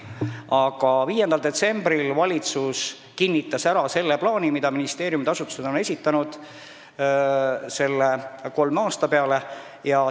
Aga jah, 5. detsembril kinnitas valitsus ära selle plaani, mille ministeeriumid on kolme aasta peale esitanud.